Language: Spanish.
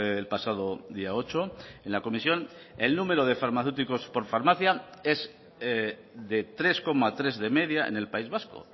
el pasado día ocho en la comisión el número de farmacéuticos por farmacia es de tres coma tres de media en el país vasco